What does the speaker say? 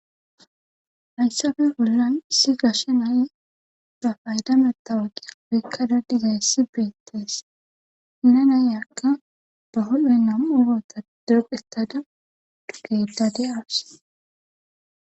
hayssafe bollan issi gashe nayi ba payda mattawaqiya ekada dizayssi beettes nanayakka ba huphen nam ubota deqetada dugedadi awus